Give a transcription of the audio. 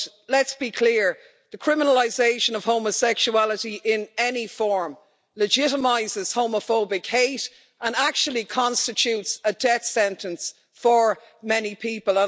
Let's be clear the criminalisation of homosexuality in any form legitimises homophobic hate and actually constitutes a death sentence for many people.